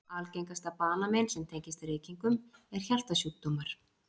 Algengasta banamein sem tengist reykingum er hjartasjúkdómar.